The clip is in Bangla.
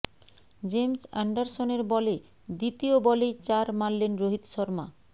জেমস অ্যান্ডারসনের বলে দ্বিতীয় বলেই চার মারলেন রোহিত শর্মা